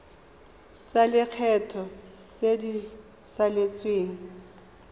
tsa lekgetho tse di saletseng